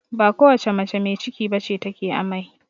Ba kowace mace mai ciki bace ta ke amai